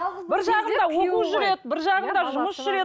бір жағында оқу жүреді бір жағында жұмыс жүреді